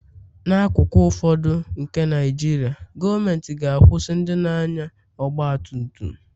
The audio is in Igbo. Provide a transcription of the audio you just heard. n'akụkụ ụfọdụ nke Naijiria, gọọmentị ga-akwụsị ndị na-anya ọgba tum tum